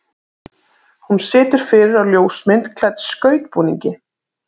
Hún situr fyrir á ljósmynd klædd skautbúningi.